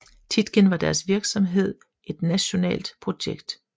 Tietgen var deres virksomhed et nationalt projekt